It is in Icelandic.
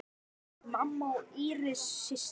Mamma og Íris systir.